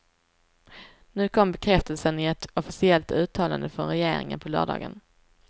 Nu kom bekräftelsen, i ett officiellt uttalande från regeringen på lördagen.